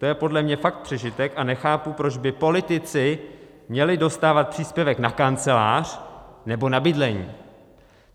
To je podle mě fakt přežitek a nechápu, proč by politici měli dostávat příspěvek na kancelář nebo na bydlení.